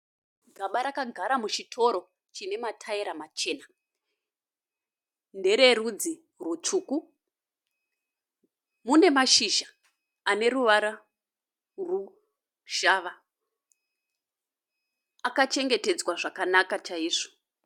Gaba rakagara muchitoro chinemataira machena. Ndereudzi rutsvuku, munemashizha aneruvara rushava. Akachengetedzwa zvakanaka chaizvo.